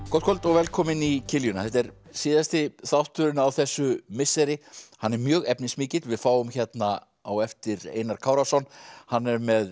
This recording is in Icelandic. gott kvöld og velkomin í kiljuna þetta er síðasti þátturinn á þessu misseri hann er mjög efnismikill við fáum hérna á eftir Einar Kárason hann er með